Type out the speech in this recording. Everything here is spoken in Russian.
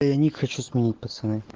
я ник хочу сменить пацаны